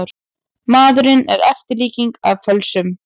Maðurinn er eftirlíking af fölsun.